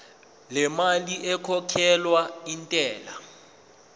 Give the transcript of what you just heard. lemali ekhokhelwa intela